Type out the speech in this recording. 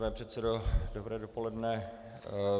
Pane předsedo, dobré dopoledne.